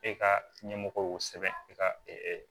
E ka ɲɛmɔgɔ y'o sɛbɛn e ka